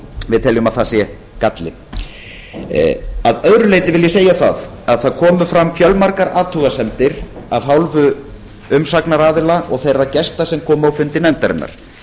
við teljum að það sé galli að öðru leyti vil ég segja að fjölmargar athugasemdir komu fram af hálfu umsagnaraðila og þeirra gesta sem komu á fundi nefndarinnar